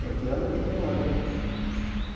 Tem que anda, tem que não anda.